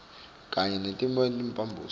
kanye naletinye timphambosi